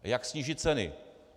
Jak sníží ceny?